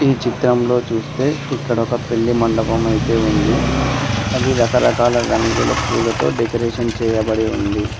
ఈ చిత్రంలో చూస్తే ఇక్కడ ఒక పెళ్లి మండపం అయితే ఉంది అది రకరకాల రంగుల పూలతో డెకరేషన్ చేయబడి ఉంది.